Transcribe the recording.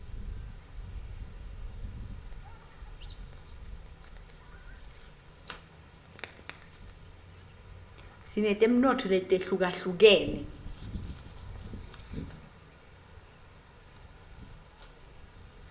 sinetemnotfo letihlukahlukenus